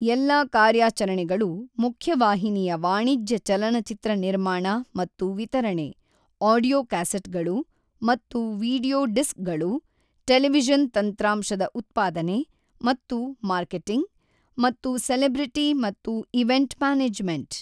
ಎಲ್ಲಾ ಕಾರ್ಯಾಚರಣೆಗಳು ಮುಖ್ಯವಾಹಿನಿಯ ವಾಣಿಜ್ಯ ಚಲನಚಿತ್ರ ನಿರ್ಮಾಣ ಮತ್ತು ವಿತರಣೆ, ಆಡಿಯೋ ಕ್ಯಾಸೆಟ್ಗಳು ಮತ್ತು ವೀಡಿಯೊ ಡಿಸ್ಕ್ಗಳು, ಟೆಲಿವಿಷನ್ ತಂತ್ರಾಂಶದ ಉತ್ಪಾದನೆ ಮತ್ತು ಮಾರ್ಕೆಟಿಂಗ್, ಮತ್ತು ಸೆಲೆಬ್ರಿಟಿ ಮತ್ತು ಈವೆಂಟ್ ಮ್ಯಾನೇಜ್ಮೆಂಟ್.